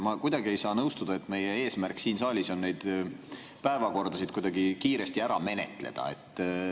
Ma kuidagi ei saa nõustuda, et meie eesmärk siin saalis on päevakordasid kiiresti ära menetleda.